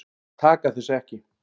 Þeir taka þessu ekki.